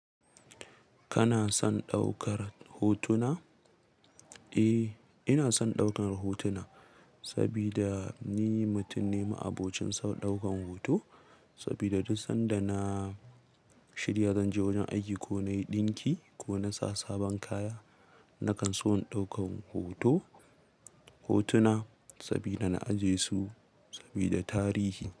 Kana son ɗaukar hotuna? Eh, ina son ɗaukar hotuna saboda ni mutum ne ma'abocin ɗaukan hoto. Sabida duk sanda na shirya zanje wajen aiki ko nayi ɗinki ko sa sabon kaya nakanso in ɗaukan hoto hotuna saboda na aje su saboda tarihi.